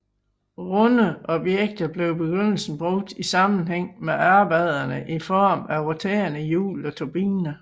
Runde objekter bliver i begyndelsen brugt i sammenhæng med arbejderne i form af rotenrende hjul og turbiner